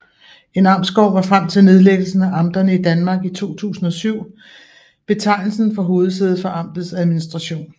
En amtsgård var frem til nedlæggelsen af amterne i Danmark i 2007 betegnelsen for hovedsædet for amtets administration